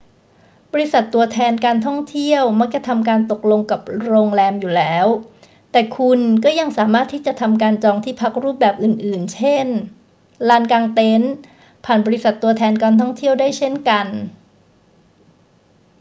บริษัทตัวแทนการท่องเที่ยวมักจะทำการตกลงกับโรงแรมอยู่แล้ว แต่คุณก็ยังสามารถที่จะทำการจองที่พักรูปแบบอื่น ๆ เช่น ลานกางเต็นท์ผ่านบริษัทตัวแทนการท่องเที่ยวได้เช่นกัน